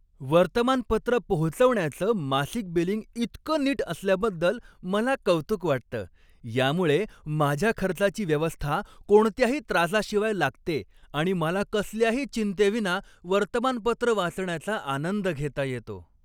वर्तमानपत्र पोहोचवण्याचं मासिक बिलिंग इतकं नीट असल्याबद्दल मला कौतुक वाटतं. यामुळे माझ्या खर्चाची व्यवस्था कोणत्याही त्रासाशिवाय लागते आणि मला कसल्याही चिंतेविना वर्तमानपत्र वाचण्याचा आनंद घेता येतो.